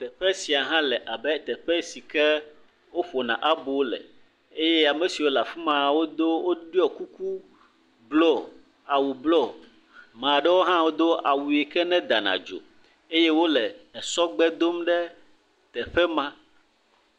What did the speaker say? Teƒe sia hã le abe teƒe si woƒona abo le eye ame siwo le afi ma, wodo, woɖɔ kuku blɔ, awu blɔ, mea ɖewo hã wodo awu yike nedana dzo. Eye wole esɔgbe dom ɖe teƒe ma.